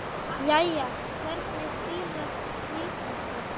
Jæja, hvernig fílar skvísan sig?